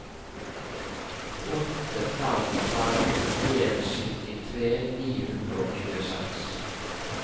åtte fem fem en syttitre ni hundre og tjueseks